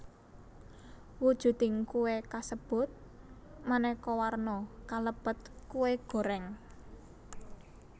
Wujuding kué kasebut manéka warna kalebet kué goreng